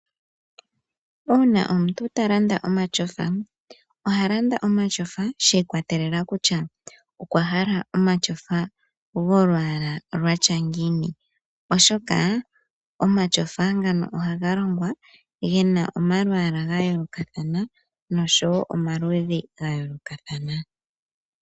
Uuna omuntu ta landa omatyofa, oha landa omatyofa shi ikwatelela kutya okwa hala omatyofa golwaala lwatya ngiini. Oshoka omatyofa ngano ohaga longwa gena omalwaala ga yoolokathana noshowo omaludhi ga yoolokathana.